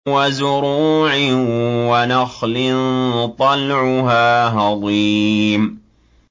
وَزُرُوعٍ وَنَخْلٍ طَلْعُهَا هَضِيمٌ